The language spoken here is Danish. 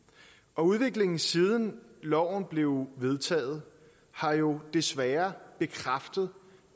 og udviklingen siden loven blev vedtaget har jo desværre bekræftet